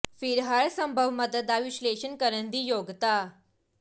ਫਿਰ ਹਰ ਸੰਭਵ ਮਦਦ ਦਾ ਵਿਸ਼ਲੇਸ਼ਣ ਕਰਨ ਦੀ ਯੋਗਤਾ